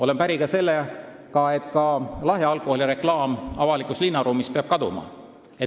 Olen päri ka sellega, et lahja alkoholi reklaam peab avalikust linnaruumist kaduma.